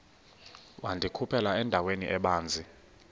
wandikhuphela endaweni ebanzi